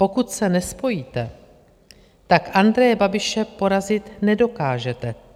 Pokud se nespojíte, tak Andreje Babiše porazit nedokážete.